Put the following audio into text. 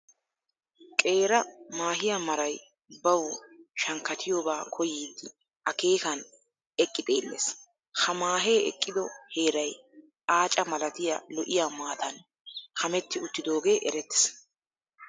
Qeera maahiya maray bawu shankkatiyobaa koyyiiddi akeekan eqqi xeellees. Ha maahee eqqido heeray aaca malatiya lo"iya maatan kametti uttidoogee erettees.